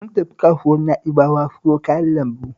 Sun tafi kasuwar Na'bawa siyo kayan lambu